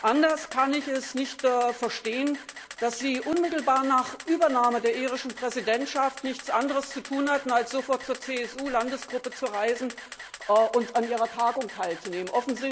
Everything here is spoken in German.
Anders kann ich es nicht verstehen, dass Sie unmittelbar nach Übernahme der irischen Präsidentschaft nichts anderes zu tun hatten, als sofort zur CSU Landesgruppe zu reisen und an deren Tagung teilzunehmen.